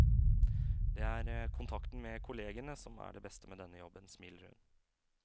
Det er kontakten med kollegene som er det beste med denne jobben, smiler hun.